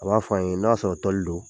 A b'a f'an ye n'a sɔrɔ do.